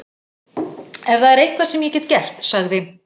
Ef það er eitthvað sem ég get gert- sagði